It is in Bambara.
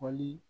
Wali